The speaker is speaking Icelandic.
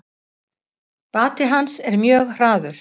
Bati hans er mjög hraður.